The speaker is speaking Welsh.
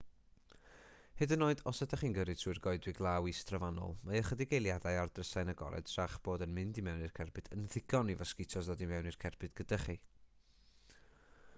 hyd yn oed os ydych chi'n gyrru trwy'r goedwig law is-drofannol mae ychydig eiliadau â'r drysau'n agored tra'ch bod yn mynd i mewn i'r cerbyd yn ddigon i fosgitos ddod i mewn i'r cerbyd gyda chi